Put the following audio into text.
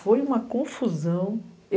Foi uma confusão.